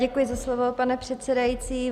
Děkuji za slovo, pane předsedající.